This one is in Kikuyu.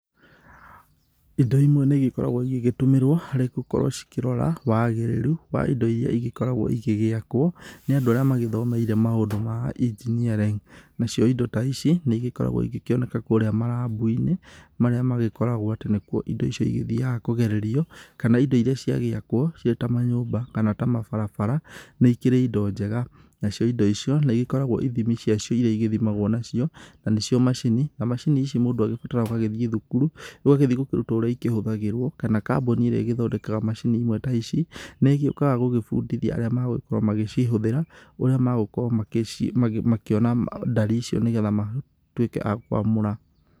Indo imwe nĩ ĩgĩkoragwo igĩtũmĩrwo rĩngĩ gũkorwo cikĩrora wagĩrĩru wa indo iria igĩkoragwo igĩgiakwo nĩ andu arĩa magĩthomeire maũndũ ma engineering. Nacio indo ta ici nĩigĩkoragwo igĩkioneka kũria marabu-inĩ marĩa magĩkoragwo atĩ nĩkuo indo icio igĩthiaga kũgererio, kana indo iria cĩagiakwo cĩ ta manyũmba kana ta mabarabara nĩ ikĩrĩ indo njega. Nacio indo icio nĩigĩkoragwo ithimi cia cio iria igĩthimagwo nacio na nĩcio macini, na macini ici mũndũ agĩbataraga ũgagĩthiĩ thukuru, ũgagĩthiĩ gũkĩrutwo ũrĩa ikĩhũthagĩrwo, kana kambuni irĩa ĩgĩthondekaga macini imwe ta ici, nĩĩgĩukaga gũgĩbundithia arĩa marĩa magũkorwo magĩcihũthĩra, ũria magũkorwo makĩonaga ndari icio nĩgetha matuike akũamũra.